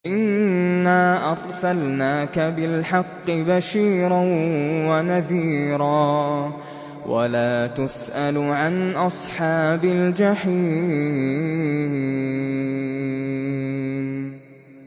إِنَّا أَرْسَلْنَاكَ بِالْحَقِّ بَشِيرًا وَنَذِيرًا ۖ وَلَا تُسْأَلُ عَنْ أَصْحَابِ الْجَحِيمِ